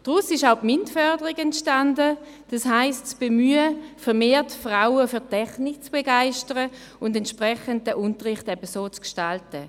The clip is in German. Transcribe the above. Daraus ist auch die Förderung in Mathematik, Informatik Naturwissenschaft, Technik (MINT) entstanden, also das Bemühen, vermehrt Frauen für Technik zu begeistern und entsprechend den Unterricht so zu gestalten.